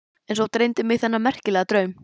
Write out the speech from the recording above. En svo dreymdi mig þennan merkilega draum.